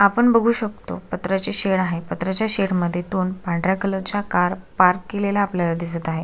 आपण बगु शकतो पत्र्याचे शेड आहे पत्र्याच्या शेड मध्ये दोन पांढऱ्या कलरच्या कार पार्क केलेल्या आपल्याला दिसत आहे.